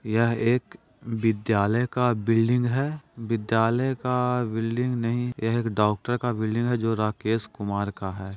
यह एक विद्यालय का बिल्डिंग है विद्यालय का बिल्डिंग नहीं यह एक डॉक्टर का बिल्डिंग है जो राकेश कुमार का है।